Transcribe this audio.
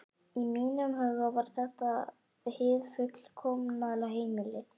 Í mínum huga var þetta hið fullkomna heimili.